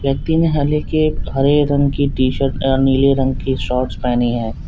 व्यक्ति ने हरे रंग की टीशर्ट और नीले रंग की शॉर्ट्स पहनी है।